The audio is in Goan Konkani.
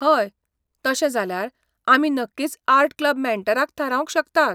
हय, तशें जाल्यार आमी नक्कीच आर्ट क्लब मॅन्टराक थारावंक शकतात.